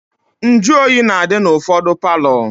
Njuoyi na-adị n'ụfọdụ palọ